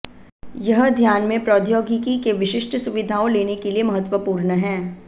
यह ध्यान में प्रौद्योगिकी के विशिष्ट सुविधाओं लेने के लिए महत्वपूर्ण है